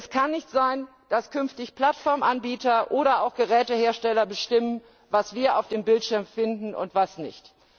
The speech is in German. Es kann nicht sein, dass künftig Plattformanbieter oder auch Gerätehersteller bestimmen, was wir auf dem Bildschirm finden und was nicht.